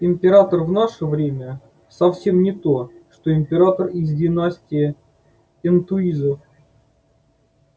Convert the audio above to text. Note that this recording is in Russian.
император в наше время совсем не то что император из династии энтуизов